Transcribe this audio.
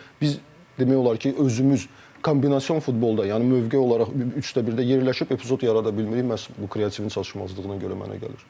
Biz demək olar ki, özümüz kombinasion futbolda, yəni mövqe olaraq üçdə birdə yerləşib epizod yarada bilmirik məhz bu kreativen çalışmazlığına görə mənə gəlir.